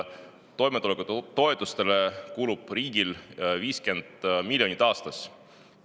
Toimetulekutoetustele kulub riigil 50 miljonit aastas.